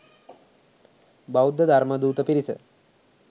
බෞද්ධ ධර්ම දූත පිරිස